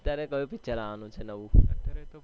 અત્યારે કયું પિક્ચર આવાનું છે નવું